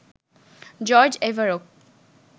George Averoff,